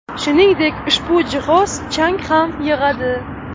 Shuningdek, ushbu jihoz chang ham yig‘adi.